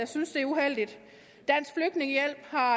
synes det er uheldigt dansk flygtningehjælp har